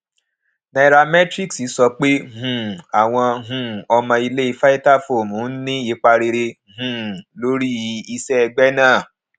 nairametrics sọ pé um àwọn um ọmọ ilé vitafoam ń ní ipa rere um lórí iṣẹ ẹgbẹ náà